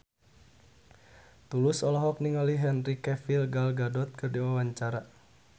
Tulus olohok ningali Henry Cavill Gal Gadot keur diwawancara